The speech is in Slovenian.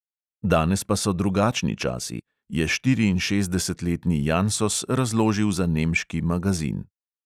Danes pa so drugačni časi, je štiriinšestdesetletni jansos razložil za nemški magazin.